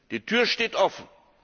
Die Tür steht offen.